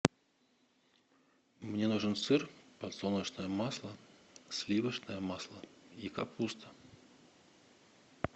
мне нужен сыр подсолнечное масло сливочное масло и капуста